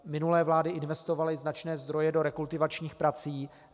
Minulé vlády investovaly značné zdroje do rekultivačních prací.